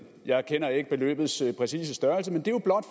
jeg kender ikke beløbets præcise størrelse men det er jo blot